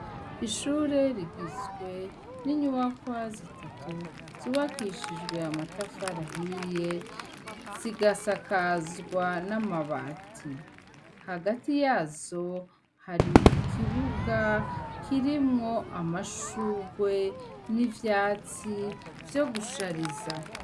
Ishure rigizwe n'inyubakwa zitatu zubakishijwe amatafari ahiye, zigasakazwa n'amabati. Hagati yazo hari ikibuga kirimwo amashurwe n'ivyatsi vyo gushariza.